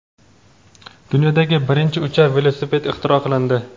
Dunyodagi birinchi uchar velosiped ixtiro qilindi.